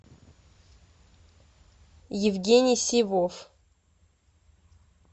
евгений сивов